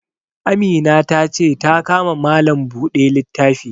Amina ta ce ta ka ma malam buɗe littafi